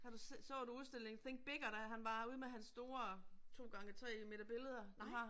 Har du så du udstillingen Think Bigger, da han var herude med hans store 2 gange 3 meter billeder han har